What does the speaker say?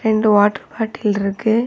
ரெண்டு water bottle இருக்கு.